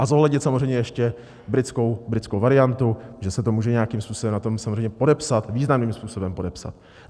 A zohlednit samozřejmě ještě britskou variantu, že se to může nějakým způsobem na tom samozřejmě podepsat, významným způsobem podepsat.